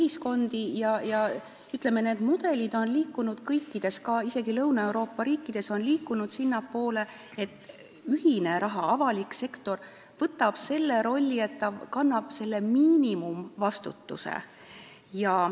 Võib öelda, et need mudelid on liikunud kõikides riikides, isegi Lõuna-Euroopa riikides, sinnapoole, et ühine raha ehk avalik sektor võtab selle rolli, et tema kanda jääb miinimumvastutus.